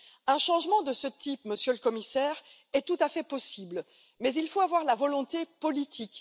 Un changement de ce type, Monsieur le Commissaire, est tout à fait possible, mais encore faut il en avoir la volonté politique.